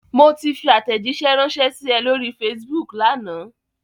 Mo ti fi àtẹ̀jíṣẹ́ ránṣẹ́ sí ẹ lóri Facebook lánàá.